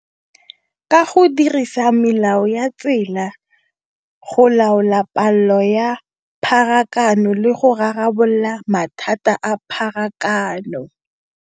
Ka go dirisa melao ya tsela, go laola palo ya pharakano, le go rarabolola mathata a pharakano.